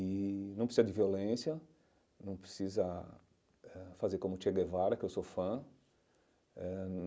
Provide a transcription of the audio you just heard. E não precisa de violência, não precisa eh fazer como Che Guevara, que eu sou fã eh.